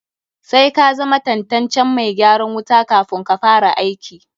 Sai ka zama tantancen mai gyaran wuta kafun ka fara aiki.